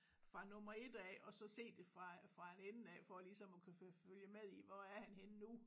Fra nummer 1 af og så se det fra fra en ende af for lige som at kunne følge med i hvor er han henne nu